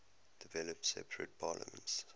developed separate parliaments